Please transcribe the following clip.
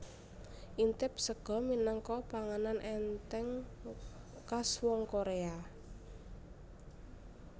Intib sega minangka panganan ènthèng kas wong Korea